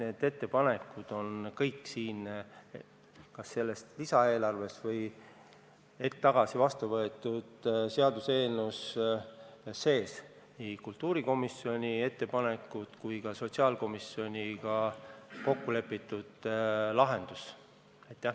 Need ettepanekud on kas selles lisaeelarves või hetk tagasi vastu võetud seaduseelnõus sees – nii kultuurikomisjoni ettepanekud kui ka sotsiaalkomisjoniga kokku lepitud lahendus.